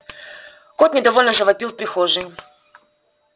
кот недовольно завопил в прихожей